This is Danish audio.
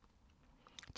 DR K